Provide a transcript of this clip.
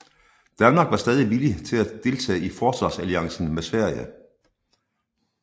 Danmark var stadig villige til at deltage i forsvarsalliancen med Sverige